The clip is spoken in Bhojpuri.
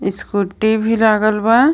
स्कूटी भी लागल बा.